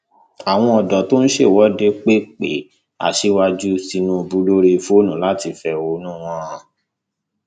àwọn ọdọ tó ń ṣèwọde pe pe aṣíwájú tìǹbù lórí fóònù láti fẹhónú wọn hàn